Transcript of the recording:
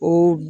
O